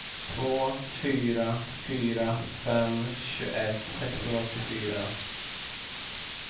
två fyra fyra fem tjugoett sexhundraåttiofyra